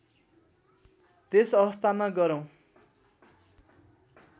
त्यस अवस्थामा गह्रौँ